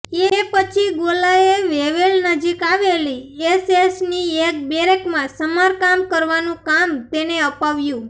એ પછી ગોલાએ વેવેલ નજીક આવેલી એસએસની એક બેરેકમાં સમારકામ કરવાનું કામ તેને અપાવ્યું